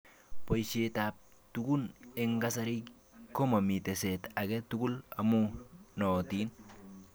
Boishet ab tugun eng kasari komamii teset age tugul amuu nootin.